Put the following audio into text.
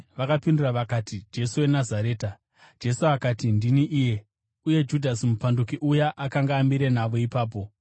Vakapindura vakati, “Jesu weNazareta.” Jesu akati, “Ndini iye.” (Uye Judhasi mupanduki uya akanga amire navo ipapo.)